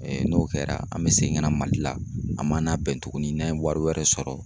Ɛɛ n'o kɛra an be segin ka na Mali la, an man labɛn tuguni n'an ye wari wɛrɛ sɔrɔ